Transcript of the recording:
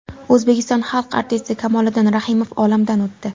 O‘zbekiston xalq artisti Kamoliddin Rahimov olamdan o‘tdi.